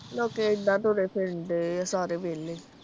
ਲੋਕੀ ਏਦਾਂ ਤੁਰੇ ਫਿਰਨ ਡੇ ਆ ਸਾਰੇ ਵੇਹਲੇ।